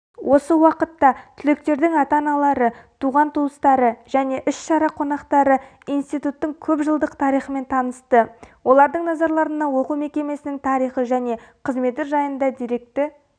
осы уақытта түлектердің ата-аналары туған-туыстары және іс-шара қонақтары институттың көпжылдық тарихымен танысты олардың назарларына оқу мекемесінің тарихы және қызметі жайында деректі